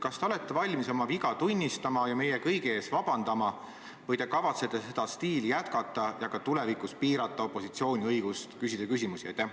Kas te olete valmis oma viga tunnistama ja meie kõigi ees vabandama või kavatsete seda stiili jätkata ja ka tulevikus piirata opositsiooni õigust küsimusi esitada?